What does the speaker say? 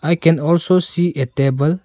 we can also see a table.